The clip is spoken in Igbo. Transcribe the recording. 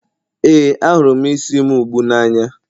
ee, ahụrụ m isi m ugbu a n'anya